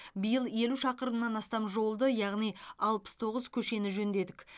биыл елу шақырымнан астам жолды яғни алпыс тоғыз көшені жөндедік